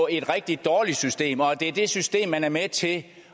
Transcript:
et rigtig dårligt system og det er det system man er med til at